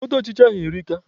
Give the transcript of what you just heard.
Mkpọtụ ọchịcha ahụ erika.